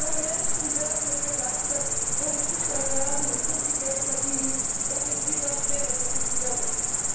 Junge Menschen werden mit Begeisterung Fischer werden und so viel Geld verdienen, dass sich dieser schwere Beruf wieder lohnt.